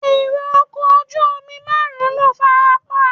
Èrò ọkọ̀ ojú omi márùn-ún ló farapa.